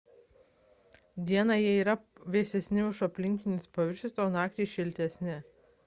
dieną jie yra vėsesni už aplinkinius paviršius o naktį šiltesni